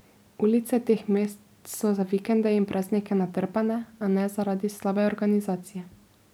Ulice teh mest so za vikende in praznike natrpane, a ne zaradi slabe organizacije.